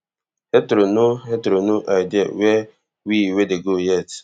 heathrow no heathrow no idea wia we wey dey go yet